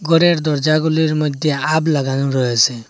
গরের দরজাগুলির মইধ্যে আব লাগানো রয়েসে।